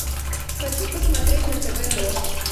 хочу посмотреть на тв дождь